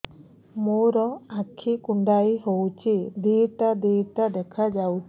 ମୋର ଆଖି କୁଣ୍ଡାଇ ହଉଛି ଦିଇଟା ଦିଇଟା ଦେଖା ଯାଉଛି